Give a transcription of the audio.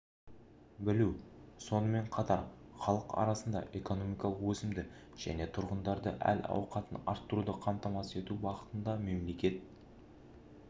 білу сонымен қатар халық арасында экономикалық өсімді және тұрғындардың әл-ауқатын арттыруды қамтамасыз ету бағытында мемлекет